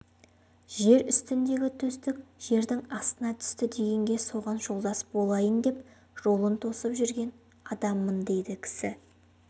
жер үстіндегі төстік жердің астына түсті дегенге соған жолдас болайын деп жолын тосып жүрген адаммын дейді кісі